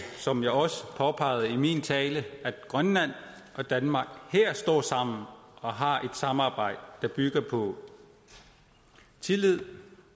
som jeg også påpegede i min tale at grønland og danmark står sammen her og har et samarbejde der bygger på tillid